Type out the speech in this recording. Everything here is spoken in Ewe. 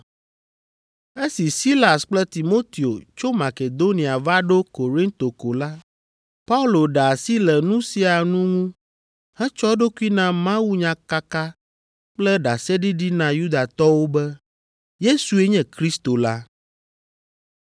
Esi Silas kple Timoteo tso Makedonia va ɖo Korinto ko la, Paulo ɖe asi le nu sia nu ŋu hetsɔ eɖokui na mawunyakaka kple ɖaseɖiɖi na Yudatɔwo be Yesue nye Kristo la.